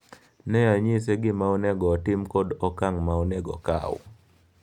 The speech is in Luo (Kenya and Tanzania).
Ne anyise gima onego otim kod okang' ma onego okaw.